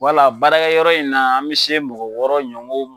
baarakɛyɔrɔ in na an mi se mɔgɔ wɔɔrɔ ɲɔgɔn.